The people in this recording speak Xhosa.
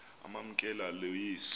amamkela lo yesu